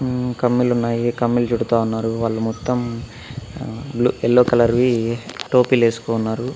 ఉమ్ కమ్మిలు ఉన్నాయి కమ్మిలు చుడుతా ఉన్నారు వాళ్ళు మొత్తం ఆ బ్లూ ఎల్లో కలర్ వి టోపీలు వేసుకున్నారు.